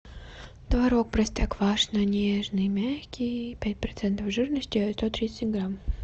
творог простоквашино нежный мягкий пять процентов жирности сто тридцать семь грамм